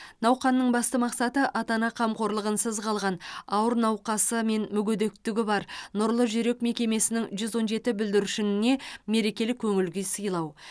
науқанның басты мақсаты ата ана қамқорлығынсыз қалған ауыр науқасы мен мүгедектігі бар нұрлы жүрек мекемесінің жүз он жеті бүлдіршініне мерекелік көңіл күй сыйлау